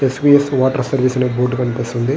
Yes P S అనే water board కనిపిస్తున్నది.